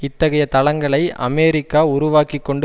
இத்தகைய தளங்களை அமெரிக்கா உருவாக்கி கொண்டு